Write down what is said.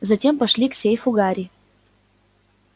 затем пошли к сейфу гарри